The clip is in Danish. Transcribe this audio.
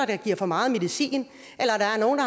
der giver for meget medicin eller der er nogle